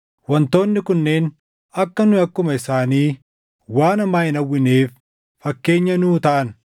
Wantoonni kunneen akka nu akkuma isaanii waan hamaa hin hawwineef fakkeenya nuu taʼan.